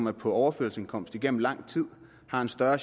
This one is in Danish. er på overførselsindkomst igennem lang tid har større